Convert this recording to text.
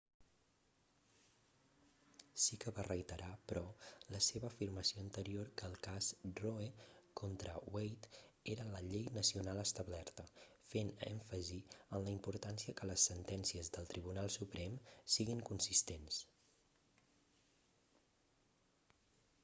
sí que va reiterar però la seva afirmació anterior que el cas roe contra wade era la llei nacional establerta fent èmfasi en la importància que les sentències del tribunal suprem siguin consistents